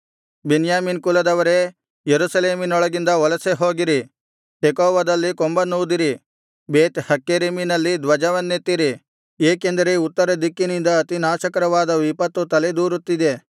ಬೆನ್ಯಾಮೀನ್ ಕುಲದವರೇ ಯೆರೂಸಲೇಮಿನೊಳಗಿಂದ ವಲಸೆ ಹೋಗಿರಿ ತೆಕೋವದಲ್ಲಿ ಕೊಂಬನ್ನೂದಿರಿ ಬೇತ್ ಹಕ್ಕೆರೆಮಿನಲ್ಲಿ ಧ್ವಜವನ್ನೆತ್ತಿರಿ ಏಕೆಂದರೆ ಉತ್ತರ ದಿಕ್ಕಿನಿಂದ ಅತಿನಾಶಕರವಾದ ವಿಪತ್ತು ತಲೆದೋರುತ್ತಿದೆ